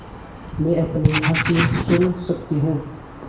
मैं अपनी हँसी सुन सकती हूँ